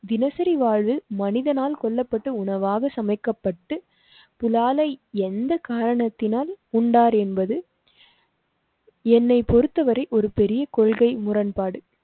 தினசரி வாழ்வில் மனிதனால் கொல்லப்பட்ட உணவாக சமைக்கப்பட்டு புலாலை எந்த காரணத்தினால் உண்டார் என்பது. என்னை பொறுத்தவரை ஒரு பெரிய கொள்கை முரண்பாடு.